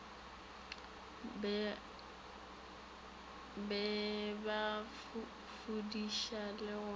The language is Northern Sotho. be ba fudiša le go